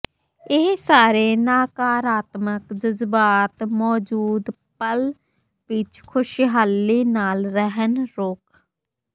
ਇਹ ਸਾਰੇ ਨਕਾਰਾਤਮਕ ਜਜ਼ਬਾਤ ਮੌਜੂਦ ਪਲ ਵਿੱਚ ਖ਼ੁਸ਼ਹਾਲੀ ਨਾਲ ਰਹਿਣ ਰੋਕ